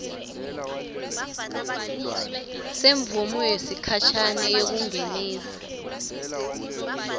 semvumo yesikhashane yekungenisa